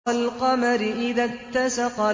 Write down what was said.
وَالْقَمَرِ إِذَا اتَّسَقَ